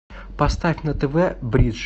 поставь на тв бридж